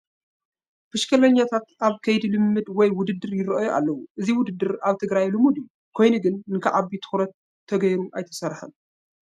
ብሽክሌተኛታት ኣብ ከይዲ ልምምድ ወይ ውድድር ይርአዩ ኣለዉ፡፡ እዚ ውድድር ኣብ ትግራይ ልሙድ እዩ፡፡ ኮይኑ ግን ንኽዓቢ ትኹረት ተገይሩ ኣይተሰርሐን፡፡